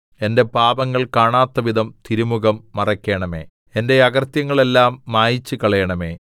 എന്റെ പാപങ്ങൾ കാണാത്തവിധം തിരുമുഖം മറയ്ക്കണമേ എന്റെ അകൃത്യങ്ങളെല്ലാം മായിച്ചുകളയണമേ